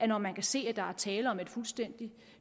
når man kan se at der er tale om et fuldstændig